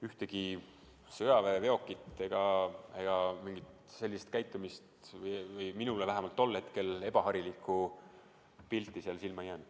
Ühtegi sõjaväeveokit ega mingit imelikku käitumist või ebaharilikku pilti minule vähemalt tol hetkel seal silma ei jäänud.